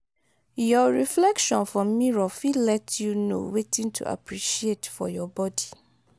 yor reflection for mirror fit let you know wetin to appreciate for your body